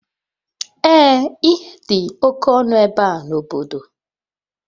Ee ihe dị oke ọnụ ebe a n'obodo.